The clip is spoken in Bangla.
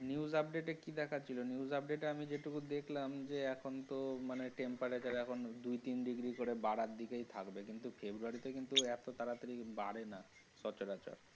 News update এ কি দেখাচ্ছিল news update এ আমি যেটুকু দেখলাম যে এখন তো মানে temperature এখন দুই তিন degree করে বারার দিকেই থাকবে। কিন্তু February তে এতো তাড়াতাড়ি বাড়েনা। সচরাচর।